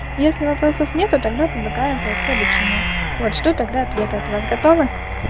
если вопросов нету тогда предлагаем пройти обучение вот жду тогда ответа от вас готовы